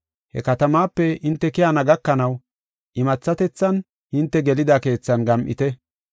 He katamaape hinte keyana gakanaw imathatethan hinte gelida keethan gam7ite.